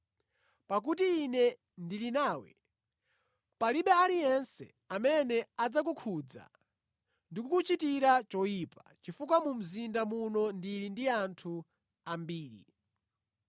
Pakuti Ine ndili nawe, palibe aliyense amene adzakukhudza ndi kukuchitira choyipa, chifukwa mu mzinda muno ndili ndi anthu ambiri.”